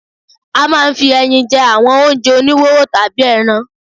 A máa ń fi ẹyin jẹ́ àwọn oúnjẹ oníwóró tàbí ẹran.